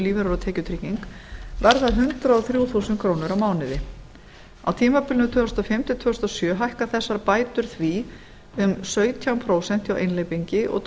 lífeyrir og tekjutrygging verða hundrað og þrjú auk krónur á mánuði á tímabilinu tvö þúsund og fimm til tvö þúsund og sjö hækka þessar bætur því um sautján prósent hjá einhleypingi og